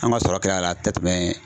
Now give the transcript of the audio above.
An ka sɔrɔ kɛla la a tɛ tɛmɛ.